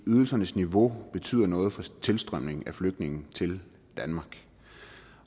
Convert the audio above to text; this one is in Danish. ydelsernes niveau betyder noget for tilstrømningen af flygtninge til danmark